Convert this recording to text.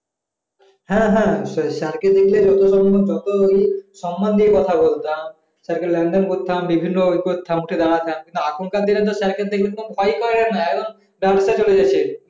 হ্যাঁ হ্যাঁ নিশ্চয়ই sir কে দেখলে যত সম্ভব যতই সম্মান দিয়ে কথা বলতাম sir কে লেনদেন করতাম বিভিন্ন ই করতাম উঠে দাঁড়াতাম এখনকার দিনে তো sir কে দেখলে তো কোন ভয় পাই না একদম ডারসে চলে যাচ্ছে